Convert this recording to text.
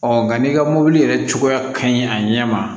nka n'i ka mɔbili yɛrɛ cogoya ka ɲi a ɲɛ ma